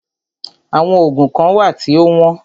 Àwọn oògùn kán wà tí o wọ́n.